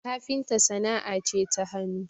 kafinta sana'a ce ta hannu